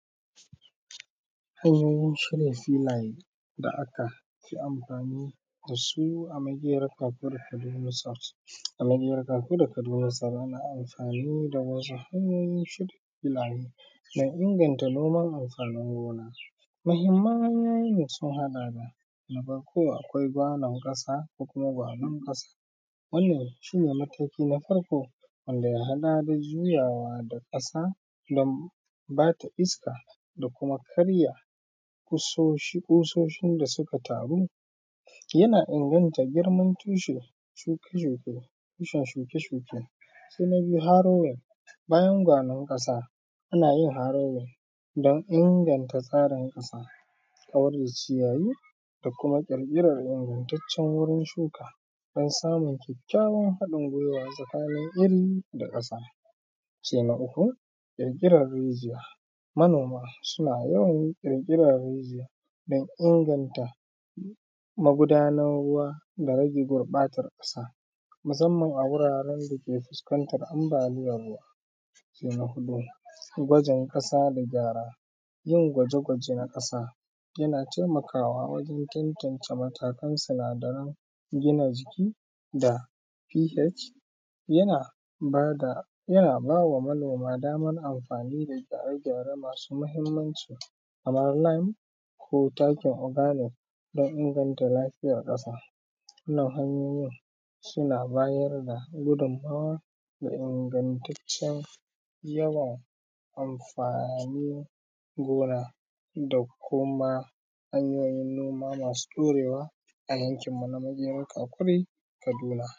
Hanyoyin shirya filaye da aka yi amfani da su a Makerar Kakuri Kaduna south. A Makerar Kakuri Kaduna south ana amfani da wasu hanyoyin filaye dan inganta noman amfanin gona. Mahimman hanyoyin sun haɗa da na farko akwai gwaben ƙasa ko kuma gwaben ƙasa wannan shi ne mataki na farko wanda ya haɗa da juyawa da ƙasa dan ba ta iska da kuma karya ƙososhin da suka taru, yana inganta girman tushen shuke, tushen shuke-shuke, sai na biyu harrowin, bayan gwaben da muka sa ana iya harrowin dan inganta tsarin ƙasa kamar da ciyayi da kuma ƙirƙirar ingantaccen wurin shuka dan samun kyakyawan haɗin gwiwa, tsakanin iri da ƙasa sai na uku ƙirƙiran rijiya, manoma suna yawan ƙirƙiran rijiya dan inganta magudanar ruwa da rage gurbatar ƙasa musamman a wuraren da ke fuskantar ambaliyar ruwa. Sai na huɗu gwajin ƙasa da gyara yin gwaje-gwaje a ƙasa yana taimakawa wajen tantance matakan sinadaran gina jiki da ph, yana bada yana ba ma manoma daman amfani da gyare-gyaren nasu da mahimmanci kamar lime ko takin organic dan inganta lafiyar ƙasa, wannan hanyoyin suna bayar da gudummawa da ingantaccen yawan amfanin gona da kuma hanyoyin noma masu ɗaurewa a yankinmu na nan Kakuri Kaduna.